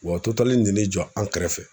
Wa Total nen'i jɔ an kɛrɛfɛ